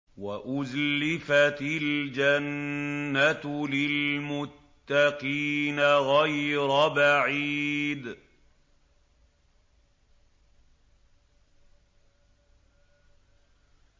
وَأُزْلِفَتِ الْجَنَّةُ لِلْمُتَّقِينَ غَيْرَ بَعِيدٍ